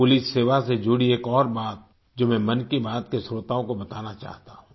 police सेवा से जुड़ी एक और बात है जो मैं मन की बात के श्रोताओं को बताना चाहता हूं